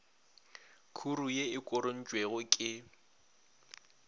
khuru ye e korontšwego ke